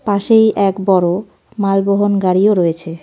পাশেই এক বড়ো মাল বহণ গাড়িও রয়েছে .